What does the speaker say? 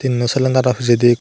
indi cylinder o pijedi ekku.